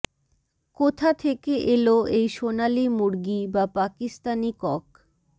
কোথা থেকে এলো এই সোনালী মুরগী বা পাকিস্তানী কক